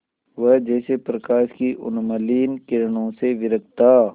वह जैसे प्रकाश की उन्मलिन किरणों से विरक्त था